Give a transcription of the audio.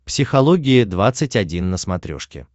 психология двадцать один на смотрешке